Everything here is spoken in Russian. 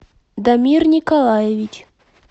дамир николаевич